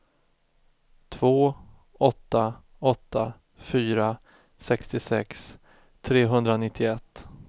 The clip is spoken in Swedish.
två åtta åtta fyra sextiosex trehundranittioett